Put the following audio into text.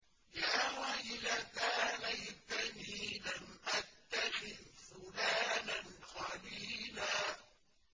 يَا وَيْلَتَىٰ لَيْتَنِي لَمْ أَتَّخِذْ فُلَانًا خَلِيلًا